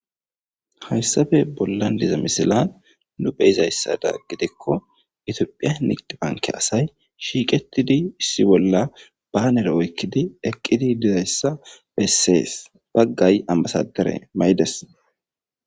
Hayisape bollan diza misilan nu be'izasa gidiko itophey asayi shiqetidi issi bolla banere oyikidi eqidi dizaysa beses bagay anibasadere ma'ides